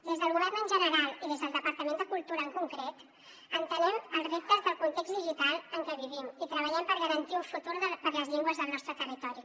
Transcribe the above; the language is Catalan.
des del govern en general i des del departament de cultura en concret entenem els reptes del context digital en què vivim i treballem per garantir un futur per a les llengües del nostre territori